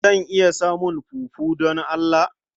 Zan iya samun fufu don Allah?